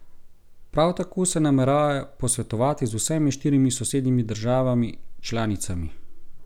Prav tako se nameravajo posvetovati z vsemi štirimi sosednjimi državami članicami.